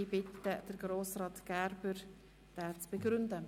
Ich bitte Grossrat Gerber, diesen zu begründen.